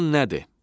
Plan nədir?